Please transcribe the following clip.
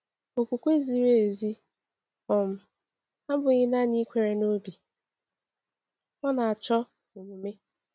Okwukwe ziri ezi um abụghị naanị ikwere n’obi — ọ na-achọ omume.